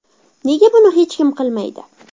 Nega buni hech kim qilmaydi?